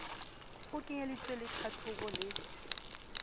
ho kenyeleditswe le tlhatlhobo le